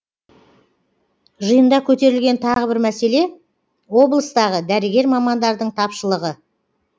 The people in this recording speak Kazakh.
жиында көтерілген тағы бір мәселе облыстағы дәрігер мамандардың тапшылығы